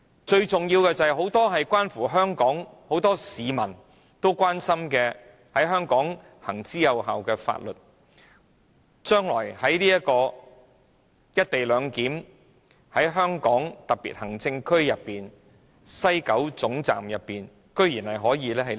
最重要的是，將來在"一地兩檢"下，很多市民關注的、在香港行之有效的很多法律無法於香港特別行政區西九龍站內實施。